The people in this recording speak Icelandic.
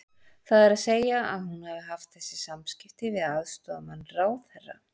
Það er að segja að hún hafi haft þessi samskipti við aðstoðarmann ráðherra?